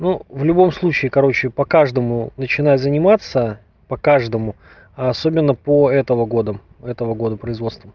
ну в любом случае короче по каждому начинай заниматься по каждому особенно по этого года этого года производства